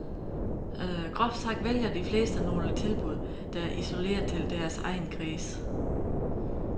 Groft sagt vælger de fleste nogle tilbud, der er isoleret til deres egen kreds.